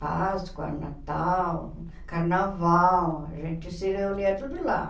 Páscoa, Natal, Carnaval, a gente se reunia tudo lá.